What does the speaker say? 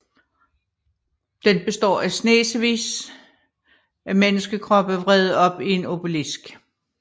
Den består at snesevis af menneskekroppe vredet op i en obelisk